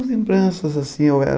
As lembranças, assim, eu era...